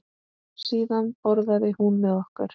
Síðan borðaði hún með okkur.